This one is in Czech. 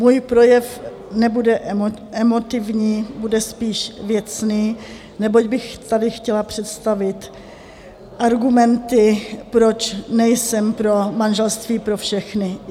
Můj projev nebude emotivní, bude spíš věcný, neboť bych tady chtěla představit argumenty, proč nejsem pro manželství pro všechny.